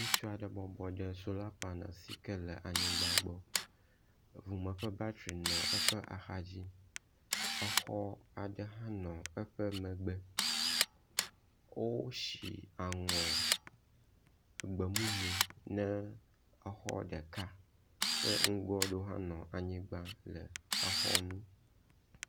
ŋutsuaɖe bɔbɔnɔ anyi ɖe sola panel aɖe sike le anyigbã gbɔ, ʋume ƒe batri nɔ eƒe axadzi, exɔ aɖe hã nɔ eƒe megbe, wósi aŋɔ gbemumu ne exɔ ɖeka ke nugoaɖewo hã nɔ anyigbã le exɔnu.